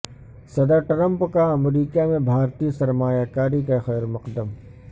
صدر ٹرمپ کا امریکہ میں بھارتی سرمایہ کاری کا خیر مقدم